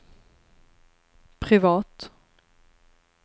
privat